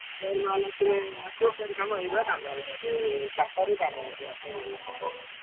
ଫେର mall ଆସିଲେ ।